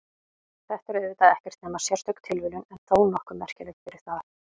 Þetta er auðvitað ekkert nema sérstök tilviljun en þó nokkuð merkileg fyrir það.